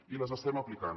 i les estem aplicant